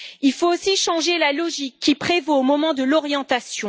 Il faut aussi changer la logique qui prévaut au moment de l'orientation.